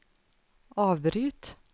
avbryt